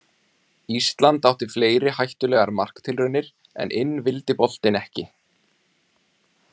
Ísland átti fleiri hættulegar marktilraunir en inn vildi boltinn ekki.